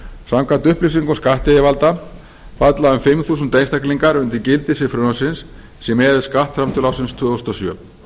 samkvæmt upplýsingum skattyfirvalda falla um fimm þúsund einstaklingar undir gildissvið frumvarpsins sé miðað við skattframtöl ársins tvö þúsund og sjö